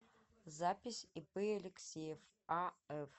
запись ип алексеев аф